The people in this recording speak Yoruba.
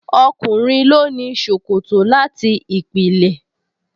Ọkùnrin ló ní ṣòkòtò láti ìpìlẹ̀